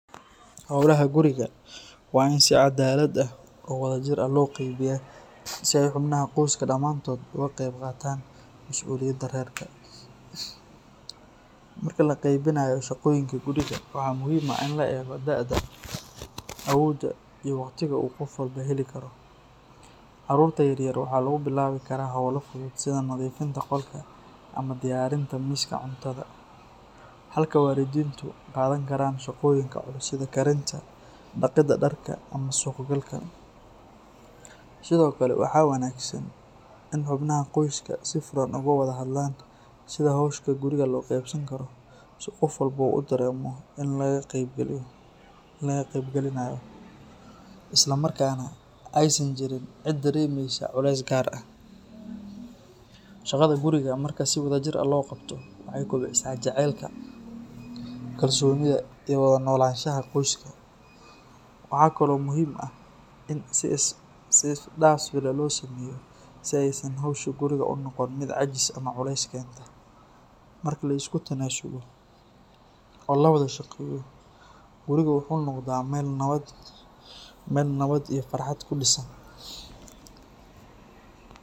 Howlaha guriga waa in si caddaalad ah oo wadajir ah loo qeybiyaa si ay xubnaha qoyska dhammaantood uga qayb qaataan masuuliyadda reerka. Marka la qeybinayo shaqooyinka guriga, waxaa muhiim ah in la eego da’da, awoodda, iyo waqtiga uu qof walba heli karo. Carruurta yar yar waxaa lagu bilaabi karaa hawlo fudud sida nadiifinta qolka ama diyaarinta miiska cuntada, halka waalidiintu qaadan karaan shaqooyinka culus sida karinta, dhaqidda dharka, ama suuq-galka. Sidoo kale, waxaa wanaagsan in xubnaha qoyska si furan uga wada hadlaan sida hawsha guriga loo qaybsan karo si qof walba u dareemo in laga qaybgelinayo isla markaana aysan jirin cid dareemaysa culays gaar ah. Shaqada guriga marka si wadajir ah loo qabto, waxay kobcisaa jacaylka, kalsoonida iyo wada noolaanshaha qoyska. Waxaa kale oo muhiim ah in si isdhaafsi ah loo sameeyo si aysan hawsha guriga u noqon mid caajis ama culays keenta. Marka la isku tanaasulo oo la wada shaqeeyo, guriga wuxuu noqdaa meel nabad iyo farxad ku dhisan